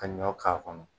Ka ɲɔ k'a kɔnɔ